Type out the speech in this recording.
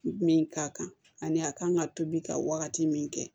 Min ka kan ani a kan ka tobi ka wagati min kɛ